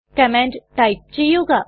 command type ചെയ്യുക